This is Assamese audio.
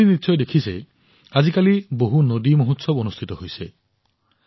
আপোনালোকে নিশ্চয় দেখিছে আজিকালি কিমান নদী উৎসৱ অনুষ্ঠিত হৈছে